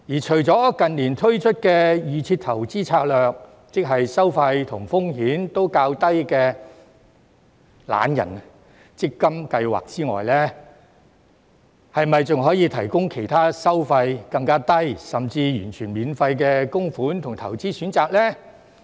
除了近年推出的預設投資策略，即收費及風險都較低的"懶人強積金計劃"之外，是否還可以提供其他收費更低，甚至完全免費的供款及投資選擇呢？